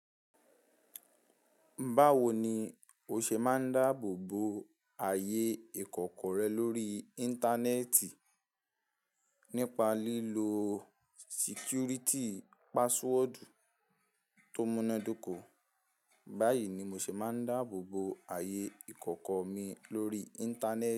Báwo ni o ṣe máa ń dáàbò bo ààyè ìkọ̀kọ̀ rẹ lórí Íńtánẹ́ẹ̀tì nípa lílo sikúríìtì paswọọdù tó múnádóko? Báyìí ni mo ṣe máa ń dáàbò bo ààyè ìkọ̀kọ̀ mi lórí Íńtánẹ́ẹ̀tì.